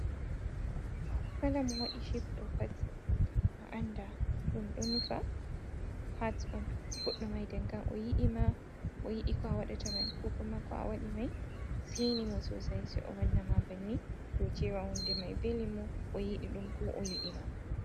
Kala mo waɗi Shep ɗo Pat, a anda ɗum ɗo nufa Hat on. Godɗo mai nden kam Oyiɗi ma, oyiɗi ko awaɗata koma ko awaɗi mai Seini mo sosai. Sei owa anna ma banni dou Cewa hunde mai vele mo Oyiɗi ɗum ko oyiɗi ma.